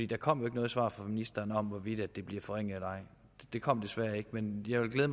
der kom jo ikke noget svar fra ministeren om hvorvidt det bliver forringet eller ej det kom desværre ikke men jeg vil